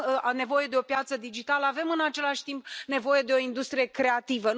Avem nevoie de o piață digitală, avem, în același timp, nevoie de o industrie creativă.